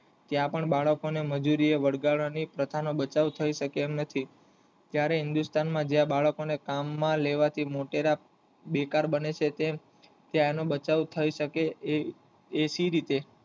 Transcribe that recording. ત્યાં પણ બાળકો ને મજૂરી વળગવાની પરચાનો બચાવ થઈ શકે તેમ નથી ત્યારે હિન્દુસ્તાન માં જ્યાં બાળકો ને કામ માં લેવા થી મોટેરા બેકાર બને છે તેમ ત્યાં નો બચાવ થઈ શકે એવી રીતે